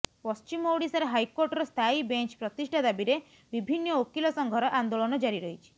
ପଶ୍ଚିମ ଓଡ଼ିଶାରେ ହାଇକୋର୍ଟର ସ୍ଥାୟୀ ବେଞ୍ଚ୍ ପ୍ରତିଷ୍ଠା ଦାବିରେ ବିଭିନ୍ନ ଓକିଲ ସଂଘର ଆନ୍ଦୋଳନ ଜାରି ରହିଛି